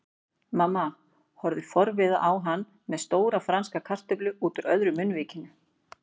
Mamma horfði forviða á hann með stóra franska kartöflu útúr öðru munnvikinu.